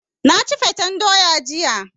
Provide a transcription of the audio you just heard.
Na ci fatan doya jiya.